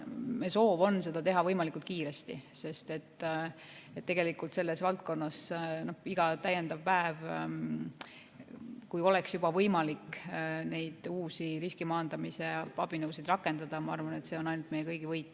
Meie soov on seda teha võimalikult kiiresti, sest selles valdkonnas iga täiendav päev, kui oleks juba võimalik neid uusi riskimaandamise abinõusid rakendada, ma arvan, oleks ainult meie kõigi võit.